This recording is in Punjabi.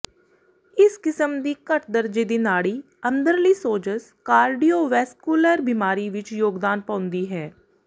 ਇਸ ਕਿਸਮ ਦੀ ਘੱਟ ਦਰਜੇ ਦੀ ਨਾੜੀ ਅੰਦਰਲੀ ਸੋਜਸ਼ ਕਾਰਡੀਓਵੈਸਕੁਲਰ ਬਿਮਾਰੀ ਵਿੱਚ ਯੋਗਦਾਨ ਪਾਉਂਦੀ ਹੈ